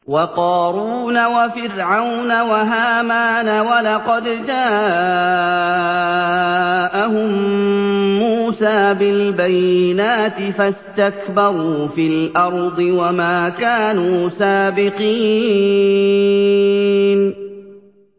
وَقَارُونَ وَفِرْعَوْنَ وَهَامَانَ ۖ وَلَقَدْ جَاءَهُم مُّوسَىٰ بِالْبَيِّنَاتِ فَاسْتَكْبَرُوا فِي الْأَرْضِ وَمَا كَانُوا سَابِقِينَ